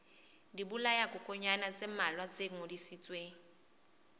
dibolayakokwanyana tse mmalwa tse ngodisitsweng